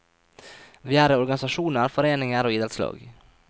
Vi er i organisasjoner, foreninger og idrettslag.